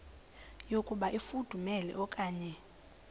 yokuba ifudumele okanye